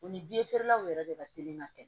U ni law yɛrɛ de ka teli ka kɛ